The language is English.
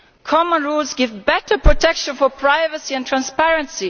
Common rules give better protection for privacy and transparency.